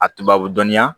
A tubabu dɔnniya